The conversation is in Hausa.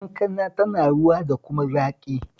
Kankana tana ruwa da kuma zaƙi